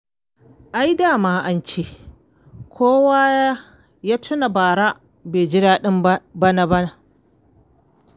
Ai da ma ance kowa ya tuna bara bai ji daɗin bana ba.